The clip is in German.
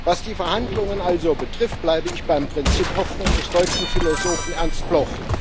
Was die Verhandlungen also betrifft, bleibe ich beim Prinzip Hoffnung des deutschen Philosophen Ernst Bloch.